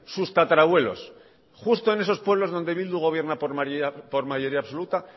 sus tatarabuelos justo en esos pueblos donde bildu gobierna por mayoría absoluta